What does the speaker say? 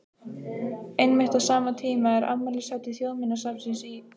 Einmitt á sama tíma er afmælishátíð Þjóðminjasafnsins í